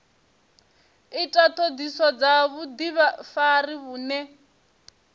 ita ṱhoḓisiso dza vhuḓifari vhune